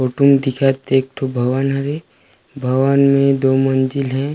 Photo म दिखत ते एक ठो भवन हरे भवन में दो मंजिल हे।